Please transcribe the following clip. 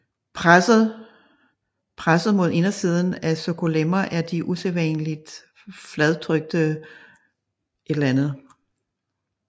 Presset mod indersiden af sarkolemma er de usædvanligt fladtrykte myonuclei